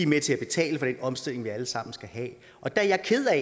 med til at betale for den omstilling vi alle sammen skal have er jeg ked af